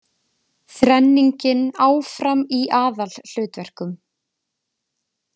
Þrenningin áfram í aðalhlutverkum